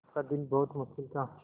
आपका दिन बहुत मुश्किल था